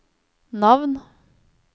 navn